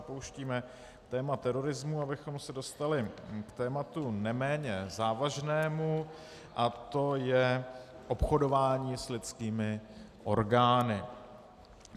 Opouštíme téma terorismu, abychom se dostali k tématu neméně závažnému, a to je obchodování s lidskými orgány.